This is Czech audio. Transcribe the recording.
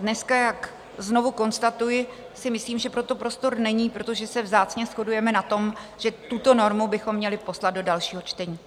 Dneska, jak znovu konstatuji, si myslím, že pro to prostor není, protože se vzácně shodujeme na tom, že tuto normu bychom měli poslat do dalšího čtení.